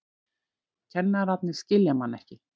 Kennararnir skilja mann ekki.